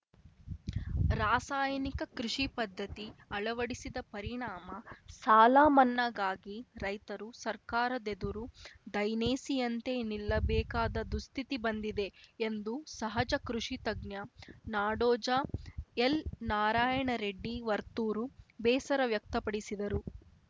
ರಾಸಾಯನಿಕ ಕೃಷಿ ಪದ್ಧತಿ ಅಳವಡಿಸಿದ ಪರಿಣಾಮ ಸಾಲ ಮನ್ನಾಗಾಗಿ ರೈತರು ಸರ್ಕಾರದೆದುರು ದೈನೇಸಿಯಂತೆ ನಿಲ್ಲಬೇಕಾದ ದುಸ್ಥಿತಿ ಬಂದಿದೆ ಎಂದು ಸಹಜ ಕೃಷಿತಜ್ಞ ನಾಡೋಜ ಎಲ್‌ನಾರಾಯಣ ರೆಡ್ಡಿ ವರ್ತೂರು ಬೇಸರ ವ್ಯಕ್ತಪಡಿಸಿದರು